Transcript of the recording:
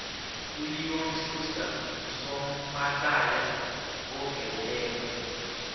uleon schuster ngusomahlaya oveleleko